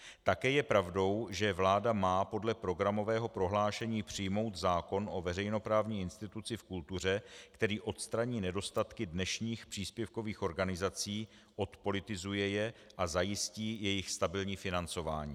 Také je pravdou, že vláda má podle programového prohlášení přijmout zákon o veřejnoprávní instituci v kultuře, který odstraní nedostatky dnešních příspěvkových organizací, odpolitizuje je a zajistí jejich stabilní financování.